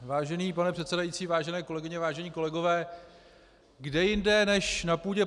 Vážený pane předsedající, vážené kolegyně, vážení kolegové, kde jinde než na půdě